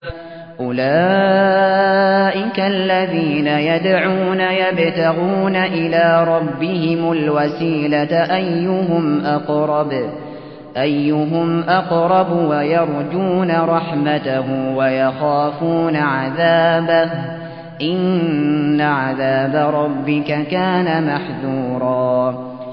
أُولَٰئِكَ الَّذِينَ يَدْعُونَ يَبْتَغُونَ إِلَىٰ رَبِّهِمُ الْوَسِيلَةَ أَيُّهُمْ أَقْرَبُ وَيَرْجُونَ رَحْمَتَهُ وَيَخَافُونَ عَذَابَهُ ۚ إِنَّ عَذَابَ رَبِّكَ كَانَ مَحْذُورًا